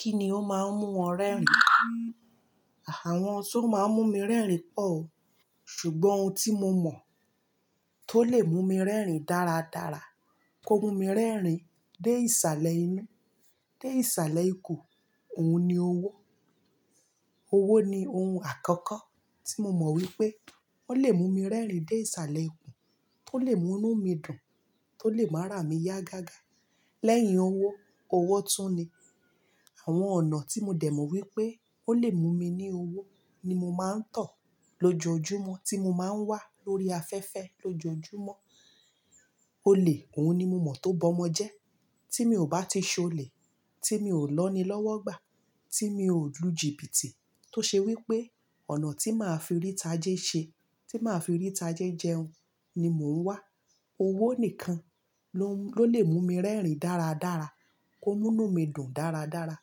Kí ni ó máa ń mú o rẹ́rìn-ín? Àwọn ohun tó máa ń mú mi rẹ́rìn-ín pọ̀ o. Ṣùgbọ́n ohun tí mo mọ̀ tó lè mú mi rẹ́rìn-ín dáradára, kó mú mi rẹ́rìn-ín dé ìsàlẹ̀ inú, dé ìsàlẹ̀ ikùn, òun ni owó. Owó ni ohun àkọ́kọ́ tí mo mọ̀ wípé ó lè mú mi rẹ́rìn-ín dé ìsàlẹ̀ ikùn, tó lè mú inú mi dùn, tó lè máa ara mí yá gágá. Lẹ́yìn owó, owó tún ni àwọn ọ̀nà tí mo dẹ̀ mọ̀ wípé ó lè mú mi ní owó ni mo máa ń tọ̀ lójoojúmọ́ tí mo máa ń wà lórí afẹ́fẹ́ lójoojúmọ́. Olè, òun ni mo mọ̀ tó bọ́mọ jẹ́. Tí mi ò bá ti ṣe olè, tí mi ò lọ́ni lọ́wọ́ gbà, tí mi ò lu jìbìtì tó ṣe wípé ọ̀nà tí màá fi rí tajé ṣe, tí màá fi rí tajé jẹun ni mò ń wà. Owó nìkan ló, ló lè mú mi rẹ́rìn-ín dáradára, kó mú inú mi dùn dáradára,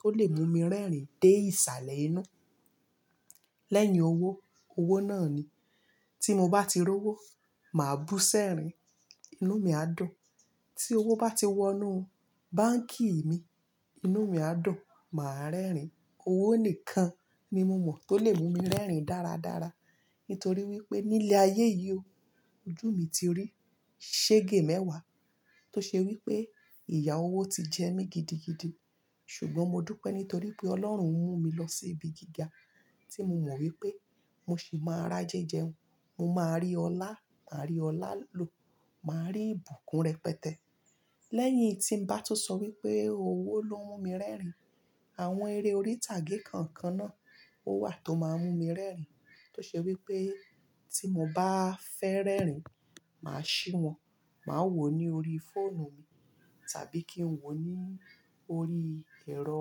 kó lè mú mi rẹ́rìn-ín dé ìsàlẹ̀ inú. Lẹ́yìn owó, owó náà ni. Tí mo bá ti rí owó, màá bú sẹ́rin, inú mi á dùn. Tí owó bá ti wọ inú báǹkì mi, inú mi á dùn, màá rẹ́rìn-ín. Owó nìkan ni mo mọ̀ tó lè mú mi rẹ́rìn-ín dáradára. Nítorí wípé nílé ayé yìí o, ojú mi ti rí sége mẹ́wàá tó ṣe wípé ìyà owó ti jẹ mí gidigidi. Ṣùgbọ́n mo dúpẹ́ nítorí pé Ọlọ́run ń mú mi lọ sí ibi gíga tí mo mọ̀ wípé mo sì máa ra jẹ́ jẹun, mo máa rí ọlá, máa rí ọlá lo, màá rí ìbùkún rẹpẹtẹ. Lẹ́yìn tí ń bá tún sọ wípé owó ló ń mú mi rẹ́rìn-ín, àwọn eré orí ìtàgé kọ̀ọ̀kan náà ó wà tó máa ń mú mi rẹ́rìn-ín. Tó ṣe wípé tí mo bá fẹ́ rẹ́rìn-ín, màá ṣí wọn, màá wò ó ní orí fóònù mi, tàbí kí n wò ó ní orí ẹ̀rọ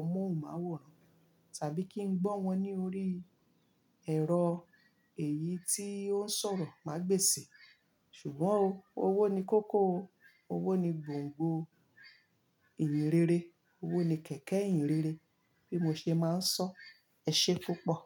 amóhùnmáwòrán, tàbí kí n gbọ́ wọn ní orí ẹ̀rọ èyí tó ń sọ̀rọ̀ màá gbèsè. Ṣùgbọ́n o, owó ni kókó o. Owó ni gbongbo ìyìnrere. Owó ni kẹ̀kẹ́ ìyìnrere bí mo ṣe máa ń sọ. Ẹ ṣe púpọ̀.